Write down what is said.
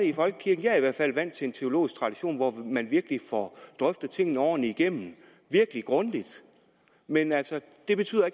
i folkekirken jeg er i hvert fald vant til en teologisk tradition hvor man virkelig får drøftet tingene ordentligt igennem virkelig grundigt men det betyder